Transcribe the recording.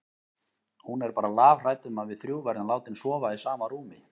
Hún er bara lafhrædd um að við þrjú verðum látin sofa í sama rúmi.